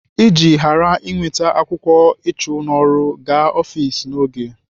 Iji ghara inweta akwụkwọ ịchụ n'ọrụ, gaa ọfiks n'oge.